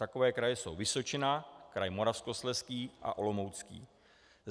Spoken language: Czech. Takové kraje jsou Vysočina, kraj Moravskoslezský a Olomoucký.